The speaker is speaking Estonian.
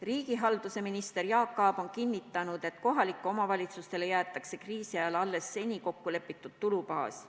Riigihalduse minister Jaak Aab on kinnitanud, et kohalikele omavalitsustele jäetakse kriisi ajal alles seni kokku lepitud tulubaas.